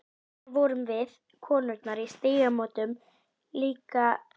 Allar vorum við, konurnar í Stígamótum, líka svo sakbitnar.